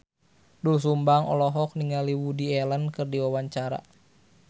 Doel Sumbang olohok ningali Woody Allen keur diwawancara